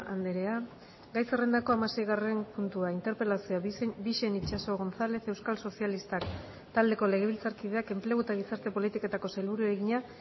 andrea gai zerrendako hamaseigarren puntua interpelazioa bixen itxaso gonzález euskal sozialistak taldeko legebiltzarkideak enplegu eta gizarte politiketako sailburuari egina